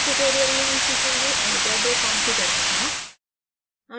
इस tutorial में हम सीखेंगे avogadro configure करना